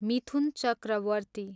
Mithun Chakraborty